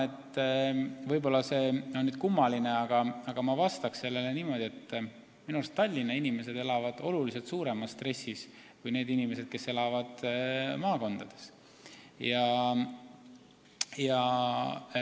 Võib-olla on see kummaline, aga ma vastan niimoodi, et minu meelest on Tallinnas elavad inimesed oluliselt suuremas stressis kui need inimesed, kes elavad maakondades.